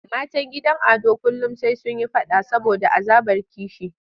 Matan gidan Ado kullum sai sun yi faɗa saboda azabar kishi.